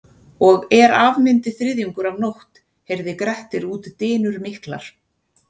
Og er af myndi þriðjungur af nótt heyrði Grettir út dynur miklar.